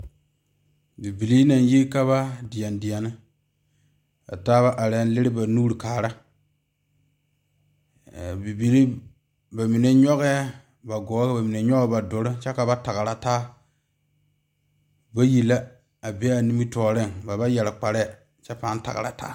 Bibiiri naŋ yi ka ba deɛ deɛne ba taa naŋ leri ba nuure are bibiiri aa bamine nyoŋ ba gɔɔ ka bamine nyoŋ ba duluŋ kyɛ ka ba tagra taa bayi la a be a nimitɔɔre ba ba yeere kparee kyɛ paa tagraa taa.